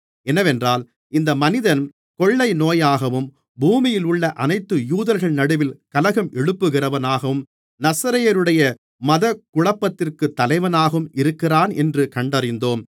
என்னவென்றால் இந்த மனிதன் கொள்ளைநோயாகவும் பூமியிலுள்ள அனைத்து யூதர்கள் நடுவில் கலகம் எழுப்புகிறவனாகவும் நசரேயருடைய மதகுழப்பத்திற்கு தலைவனாகவும் இருக்கிறானென்று கண்டறிந்தோம்